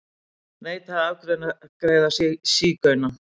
Neitaði að afgreiða sígauna